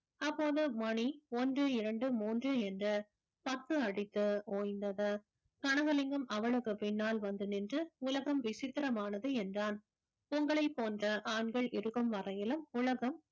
அப்போது மணி ஒன்று இரண்டு மூன்று என்று பத்து அடித்து ஓய்ந்தது கனகலிங்கம் அவளுக்கு பின்னால் வந்து நின்று உலகம் விசித்திரமானது என்றான் உங்களைப் போன்ற ஆண்கள் இருக்கும் வரையிலும் உலகம்